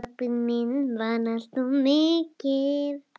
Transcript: Pabbi minn vann alltaf mikið.